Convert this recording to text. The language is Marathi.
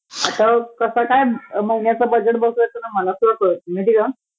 आता कसं काय महिन्याचं बजेट बसवायचं ना मला सुद्धा कळत नाही माहितीए का?